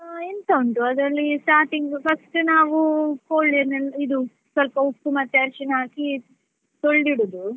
ಆ ಎಂತ ಉಂಟು ಅದ್ರಲ್ಲಿ starting first ನಾವು ಕೋಳಿನೆಲ್ಲ ಇದು ಸ್ವಲ್ಪ ಉಪ್ಪು ಮತ್ತೆ ಅರಶಿಣ ಹಾಕಿ ತೊಳ್ದು ಇಡುದು.